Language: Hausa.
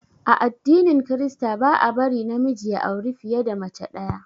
A addinin krista ba a bari na miji ya auri fiye da mace ɗaya